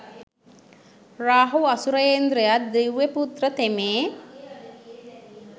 රාහු අසුරේන්ද්‍රය දිව්‍ය පුත්‍ර තෙමේ